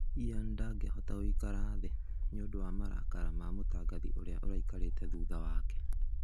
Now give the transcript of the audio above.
Ian ndagĩahota gũikara thĩĩ nĩundun wa marakara ma mũtangathi uria ũraikarĩte thutha wake.